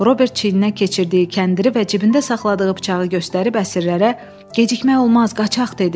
Robert çiyninə keçirdiyi kəndiri və cibində saxladığı bıçağı göstərib əsirlərə gecikmək olmaz, qaçaq dedi.